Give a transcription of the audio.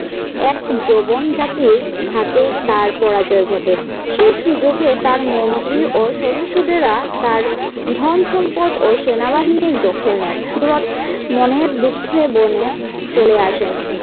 এক যৌবন জাতির হাতে তার পরাজয় ঘটে। সেই সুযোগে তার মন্ত্রী ও সভাসদেরা তার ধন-সম্পদ ও সেনাবাহিনীর দখল নেন। সুরত মনের দুঃখে বনে চলে আসেন।